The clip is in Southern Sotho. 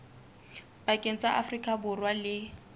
pakeng tsa afrika borwa le